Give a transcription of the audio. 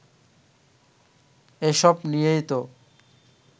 এসব নিয়েই তো